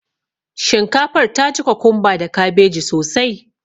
Shinkafar ta ji kokumba da kabeji sosai